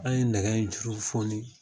An ye nɛgɛ in juru foni